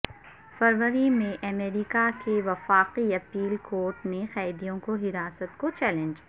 فروری میں امریکہ کے وفاقی اپیل کورٹ نےقیدیوں کو حراست کو چیلنج